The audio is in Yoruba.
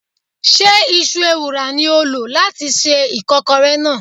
Ṣé Iṣu ewùrà ni ó lò láti se ìkọ́kọrẹ náà?